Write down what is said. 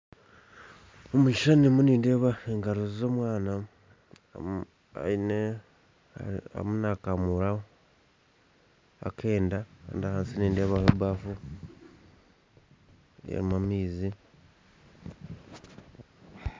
Omukishishani ndimu nindeeba engaro za omwana arimu nakamuura akenda kandi ahansi nindeebaho ebafu erimu amaizi